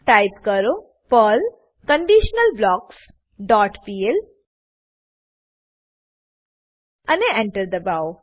type કરો Perl conditional blocks dot pl અને Enter દબાવો